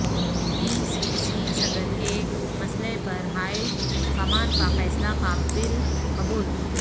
پی C C صدر کے مسئلہ پر ہائی کمان کا فیصلہ قابل قبول